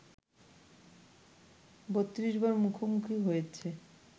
৩২ বার মুখোমুখি হয়েছে